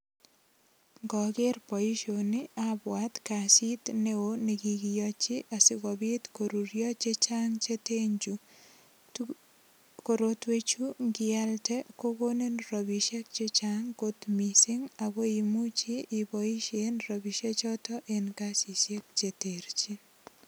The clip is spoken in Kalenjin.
Ngoger boisioni abwat kasit neo nikikiyochi sigopit korurio che chang che ten chu. Korotwechu ngialde kogonin rapisiek che chang kot mising ago imuchi iboisien ropisie choto en kasisiek cheterchin.